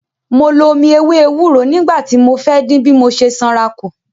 Mo lo omi ewé ewúro nígbà tí mo fẹ́ dín bí mo ṣe sanra kù.